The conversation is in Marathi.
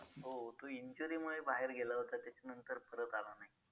त्याच्यात अजून आपल्याकडे जे प्रकार आहेत ते